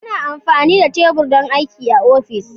Ana amfani da tebur don aiki a ofis.